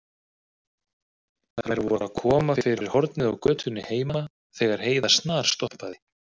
Þær voru að koma fyrir hornið á götunni heima þegar Heiða snarstoppaði.